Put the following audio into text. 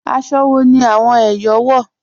Àṣọ́ wọ̀ ni awọn Èyọ̀ wọ́?